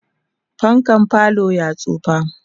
fankan falo ya tsaya